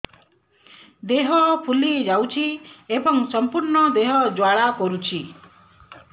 ଦେହ ଫୁଲି ଯାଉଛି ଏବଂ ସମ୍ପୂର୍ଣ୍ଣ ଦେହ ଜ୍ୱାଳା କରୁଛି